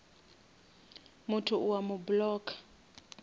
motho o a mo blocka